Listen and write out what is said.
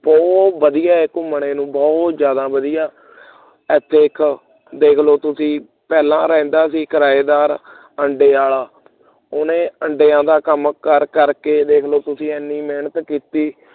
ਬਹੁਤ ਵਧੀਆ ਹੈ ਘੁੰਮਣ ਨੂੰ ਬਹੁਤ ਜ਼ਿਆਦਾ ਵਧੀਆ ਏਥੇ ਇੱਕ ਦੇਖ ਲਉ ਤੁਸੀਂ ਪਹਿਲਾਂ ਰਹਿੰਦਾ ਸੀ ਕਿਰਾਏਦਾਰ ਆਂਡਿਆਂ ਵਾਲਾ ਉਹਨੇ ਆਂਡਿਆਂ ਦਾ ਕੰਮ ਕਰ ਕਰ ਕੇ ਦੇਖ ਲਓ ਦੇਖ ਲਓ ਤੁਸੀਂ ਇੰਨੀ ਮਿਹਨਤ ਕੀਤੀ